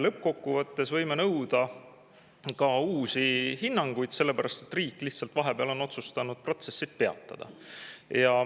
Lõppkokkuvõttes võime nõuda ka uusi hinnanguid, sellepärast et riik on vahepeal otsustanud protsessid peatada.